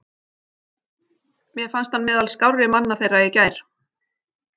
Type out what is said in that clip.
Mér fannst hann meðal skárri manna þeirra í gær.